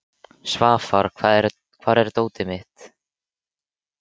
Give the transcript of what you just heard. Svafar, hvar er dótið mitt?